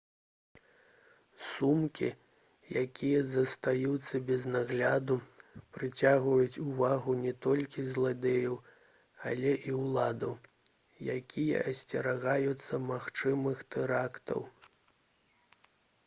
сумкі якія застаюцца без нагляду прыцягваюць увагу не толькі зладзеяў але і ўладаў якія асцерагаюцца магчымых тэрактаў